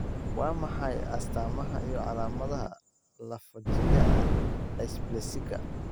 Waa maxay astaamaha iyo calaamadaha lafo-jileeca dysplasika?